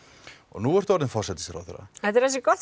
nú ertu orðin forsætisráðherra þetta er ansi gott